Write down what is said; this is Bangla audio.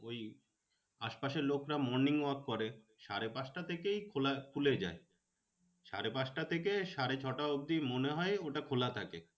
ওই আশ পাশের লোকরা morning work করে। সাড়ে পাঁচটা থেকেই খোলা খুলে যায়। সাড়ে পাঁচটা থেকে সাড়ে ছটা অবধি মনে হয় ওটা খোলা থাকে।